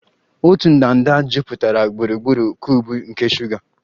Otu ndanda jupụtara gburugburu cuubu nke shuga